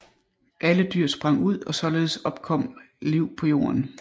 Alle dyr sprang ud og således opkom liv på jorden